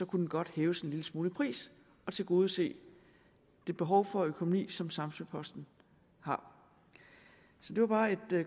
kunne den godt hæves en lille smule i pris og tilgodese det behov for økonomi som samsø posten har så det var bare et